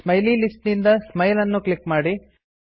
smiley list ನಿಂದ smile ಅನ್ನು click ಮಾಡಿ